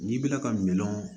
N'i bɛna ka minan